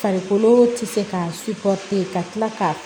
Farikolo tɛ se ka ka kila k'a